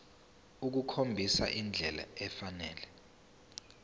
ukukhombisa indlela efanele